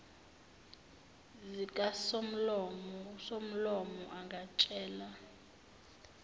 zikasomlomo usomlomo angatshela